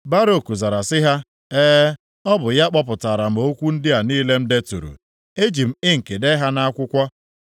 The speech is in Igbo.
Baruk zara sị ha, “E, ọ bụ ya kpọpụtara m okwu ndị a niile m deturu. E ji m inki dee ha nʼakwụkwọ.”